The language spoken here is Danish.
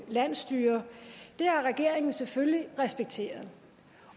landsstyrer har regeringen selvfølgelig respekteret